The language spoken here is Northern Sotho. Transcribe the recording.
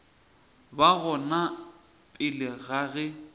ba gona pele ga ge